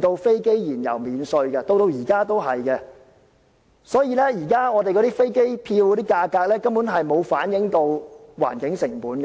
讓飛機燃油免稅，直至現時也是如此，所以今天的機票價格，根本便沒有反映出環境成本。